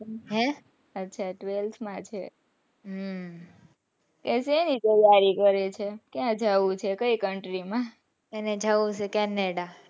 હે અચ્છા twelfth માં છે હમ ક્યાંની તૈયારી કરે છે એને ક્યાં જાઉં છે કયી country માં canada,